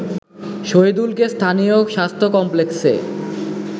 শহিদুলকে স্থানীয় স্বাস্থ্য কমপ্লেক্সে